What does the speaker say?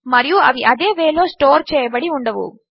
మరియు అవి అదే వే లో స్టోర్ చేయబడి ఉండవు